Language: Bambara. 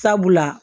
Sabula